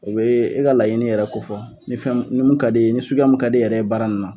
O bɛ e ka laɲini yɛrɛ ko fɔ ni fɛn mun ni mun ka d'e ye ni suguyamu ka d'e yɛrɛ ye baara ninnu na.